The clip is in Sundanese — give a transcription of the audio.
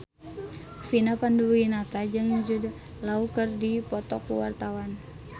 Vina Panduwinata jeung Jude Law keur dipoto ku wartawan